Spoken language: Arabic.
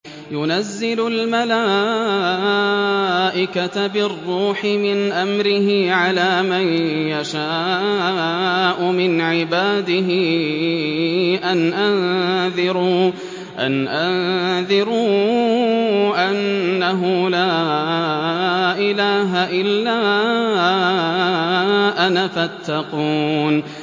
يُنَزِّلُ الْمَلَائِكَةَ بِالرُّوحِ مِنْ أَمْرِهِ عَلَىٰ مَن يَشَاءُ مِنْ عِبَادِهِ أَنْ أَنذِرُوا أَنَّهُ لَا إِلَٰهَ إِلَّا أَنَا فَاتَّقُونِ